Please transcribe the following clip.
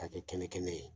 K'a kɛ kɛnɛ kɛnɛ ye